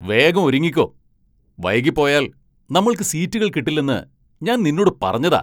വേഗം ഒരുങ്ങിക്കോ ! വൈകി പോയാൽ നമ്മൾക്ക് സീറ്റുകൾ കിട്ടില്ലെന്ന് ഞാൻ നിന്നൊട് പറഞ്ഞതാ.